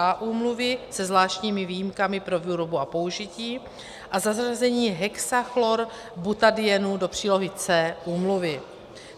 A úmluvy se zvláštními výjimkami pro výrobu a použití, a zařazení hexachlorobutadienu do přílohy C úmluvy.